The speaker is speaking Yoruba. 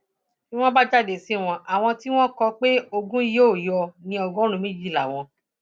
bí wọn bá jáde sí wọn àwọn tí wọn kò pé ogun yìí yóò ní ọgọrùnún méjì làwọn